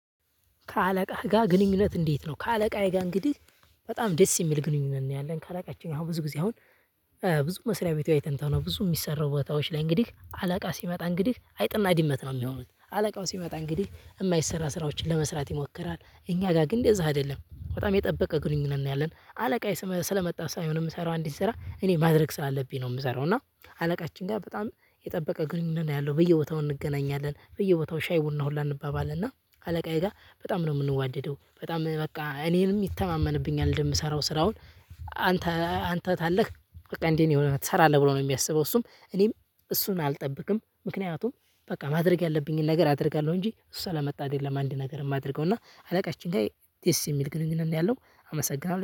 ከአለቃህ ጋር ግንኙነት እንዴት ነው? ከአለቃዬ ጋር እንግዲህ በጣም ደስ የሚል ግንኙነት ነው ያለን ካላቃችን አሁን ብዙ ጊዜ አሁን። ብዙ መስሪያ ቤት አይተን ቶሎ ነው ብዙ የሚሰራው ቦታዎች ላይ እንግዲህ አላቃ ሲመጣ እንግዲህ አይጥና ዲመት ነው የሚሆኑት አለቃው ሲመጣ እንግዲህ የማይሰራ ስራዎችን ለመስራት ይሞክራል እኛ ጋር ግን እንደዛ አይደለም በጣም የጠበቀ ግንኙነት ነው። ያለን አለቃየ ስለመጣ ሳይሆን የምሰራው አንዲን ስራ እኔ ማድረግ ስላለብኝ ነው የምሰራው። እና አለቃችን ጋር በጣም የጠበቀ ግንኙነት ነው ያለው በየቦታው እንገናኛለን በየቦታው ሻይ ቡና ሁላ አንባባልና አለቃዬ ጋር በጣም ነው የምንዋደደው በጣም በቃ እኔንም ይተማመንብኛል እንደምሰራው ስራውን። አንተ ታለህ በቃ እንደ ሆነህ ትሰራለህ ብሎ ነው የሚያስበው። እሱም እኔም እሱን አልጠብቅም ምክንያቱም በቃ ማድረግ ያለብኝን ነገር አደርጋለሁ። እንጂ እሱ ስለመጣ አደለም አንድ ነገር የማደርገው። እና አለቃችን ጋ ደስ የሚል ግንኙነት ነው ያለው። አመሰግናለሁ